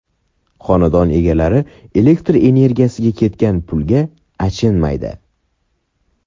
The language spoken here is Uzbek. Xonadon egalari elektr energiyasiga ketgan pulga achinmaydi.